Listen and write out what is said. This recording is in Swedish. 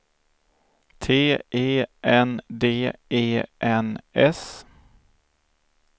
T E N D E N S